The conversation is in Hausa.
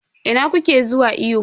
Ina kuke zuwa iyo?